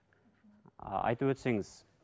айтып өтсеңіз